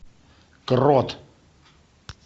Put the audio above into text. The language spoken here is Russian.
крот